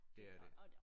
Det er det